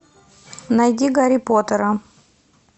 найди гарри поттера